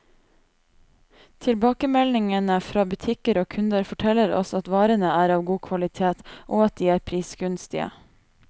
Tilbakemeldingene fra butikker og kunder, forteller oss at varene er av god kvalitet, og at de er prisgunstige.